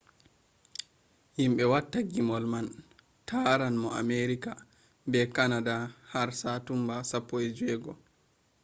yimɓe watta gimmol man taran no amerika be kanada har satumba 16